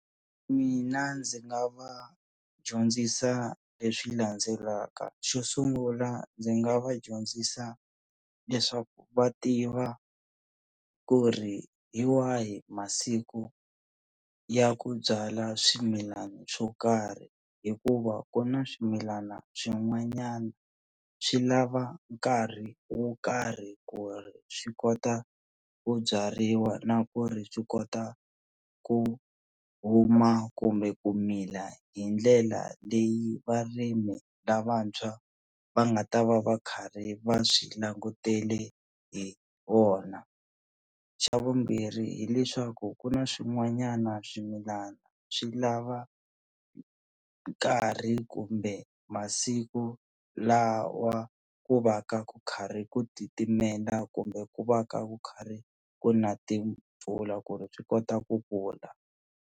Mina ndzi nga va dyondzisa leswi landzelaka xo sungula ndzi nga va dyondzisa leswaku va tiva ku ri hi wahi masiku ya ku byala swimilana swo karhi hikuva ku na swimilana swin'wanyana swi lava nkarhi wo karhi ku ri swi kota ku byariwa na ku ri swi kota ku huma kumbe ku mila hi ndlela leyi varimi lavantshwa va nga ta va va karhi va swi langutele hi wona, xa vumbirhi hileswaku ku na swin'wanyana swimilana swi lava nkarhi kumbe masiku lawa ku va ku karhi ku titimela kumbe ku va ka ku karhi ku na timpfula ku ri swi kota ku kula.